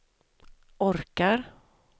orkar